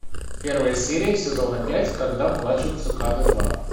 первая серия сезона пять когда плачут цикады два